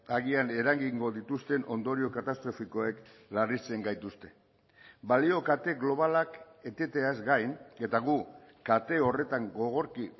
agian eragingo dituzten ondorio katastrofikoek larritzen gaituzte balio kate globalak eteteaz gain eta gu kate horretan gogorki